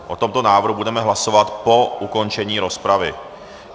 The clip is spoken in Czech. O tomto návrhu budeme hlasovat po ukončení rozpravy.